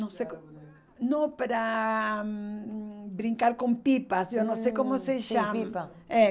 Não se como Não pera ah, brincar com pipas, hum, eu não sei como se chama. Sim, pipa